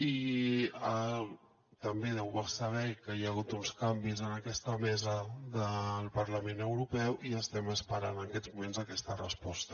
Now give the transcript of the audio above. i també deu saber que hi ha hagut uns canvis en aquesta mesa del parlament europeu i estem esperant en aquests moments aquesta resposta